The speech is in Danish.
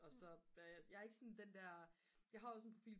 og så jeg er ikke sådan den der jeg har også en profil på